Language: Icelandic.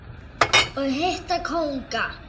og hitta kónga.